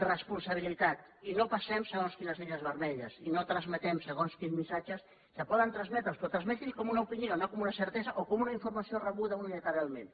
responsabilitat i no passem segons quines línies vermelles i no transmetem segons quins missatges que poden transmetre’ls però transmeti’ls com una opinió no com una certesa o com una informació rebuda unilateralment